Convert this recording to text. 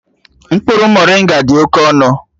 Mkpụrụ moringa dị oke ọnụ